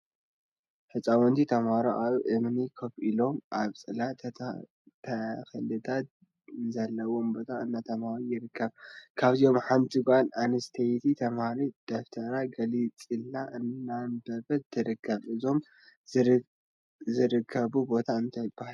ህፃውንቲ ተምሃሮ አብ እምኒ ኮፍ ኢሎም አብ ፅላል ተክሊታት ዘለውዎ ቦታ እንዳ ተምሃሩ ይርከቡ፡፡ ካብዚኦም ሓንቲ ጓል አንስተይቲ ተምሃሪት ደፍተራ ገንፂላ እንዳአንበበት ትርከብ፡፡ እዚኦም ዝርከቡሉ ቦታ አበይ እዩ?